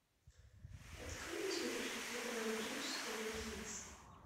открой на смотрешке телеканал бридж тв хитс